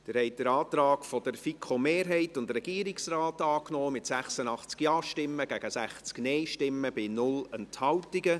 Sie haben den Antrag der FiKo-Mehrheit und des Regierungsrates angenommen mit 86 Ja- gegen 60 Nein-Stimmen bei 0 Enthaltungen.